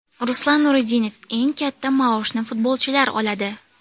Ruslan Nuriddinov: Eng katta maoshni futbolchilar oladi.